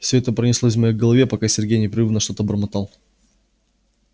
всё это пронеслось в моей голове пока сергей непрерывно что-то бормотал